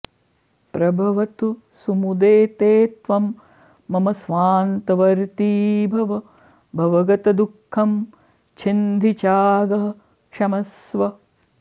प्रभवतु सुमुदे ते त्वं मम स्वान्तवर्ती भव भवगतदुःखं छिन्धि चागः क्षमस्व